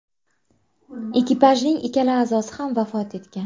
Ekipajning ikkala a’zosi ham vafot etgan.